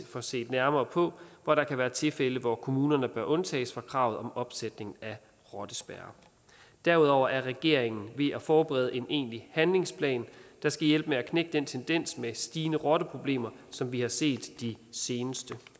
får set nærmere på hvor der kan være tilfælde hvor kommunerne bør undtages fra kravet om opsætning af rottespærrer derudover er regeringen ved at forberede en egentlig handlingsplan der skal hjælpe med at knække den tendens med stigende rotteproblemer som vi har set de seneste